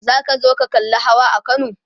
zaka zo kallan Hawa a Kano?